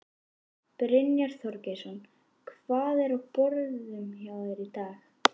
Brynja Þorgeirsdóttir: Hvað er á borðum hjá þér í dag?